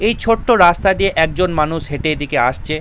এই ছোট্ট রাস্তা দিয়ে একজন মানুষ হেঁটে এদিকে আসছে।